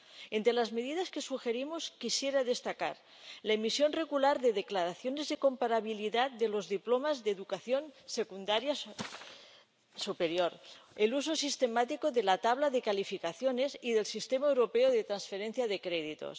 Entre las medidas que sugerimos quisiera destacar la emisión regular de declaraciones de comparabilidad de los diplomas de educación secundaria superior el uso sistemático de la tabla de calificaciones y del sistema europeo de transferencia de créditos